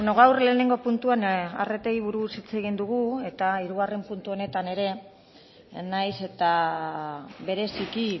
gaur lehenengo puntuan arretei buruz hitz egin dugu eta hirugarren puntu honetan ere nahiz eta bereziki